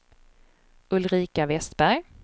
Ulrika Westberg